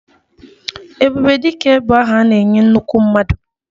Ebube Dike bụ aha a na-enye nnukwu mmadụ